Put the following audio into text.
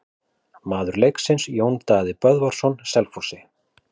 Maður leiksins: Jón Daði Böðvarsson Selfossi.